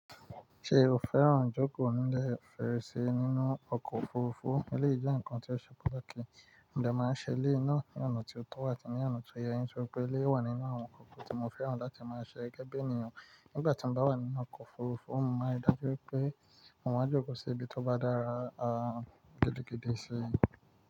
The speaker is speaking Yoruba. Ṣe o fẹ́ràn jókòó nílẹ̀ Fèrèsé nínú ọkọ̀ òfurufú? Eleyii je ǹkan tí ó ṣe patakì, mo de máa ń ṣe eleyii náà ní ọ̀nà tí ó tọ́ àti ní ọ̀nà tó yẹ, nítorí pé eleyii wà nínú àwọn nkan tí mo fẹ́ràn láti máa ṣe gege bii ènìyàn. Nígbà tí mo bá wà nínú ọkọ̀ òfurufú, mo máa ri dáju pé mo máa jókòó sí ibi tó bá dára gidigidi sí i.